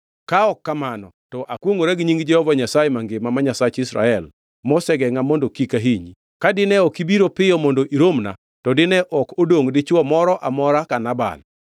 Ka ok kamano, to akwongʼora gi nying Jehova Nyasaye mangima ma Nyasach Israel, mosegengʼa mondo kik ahinyi, ka dine ok ibiro piyo mondo iromna, to dine ok odongʼ dichwo moro amora ka Nabal.”